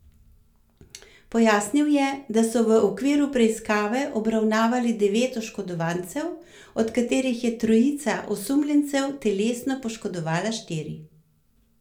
Pojasnil je, da so v okviru preiskave obravnavali devet oškodovancev, od katerih je trojica osumljencev telesno poškodovala štiri.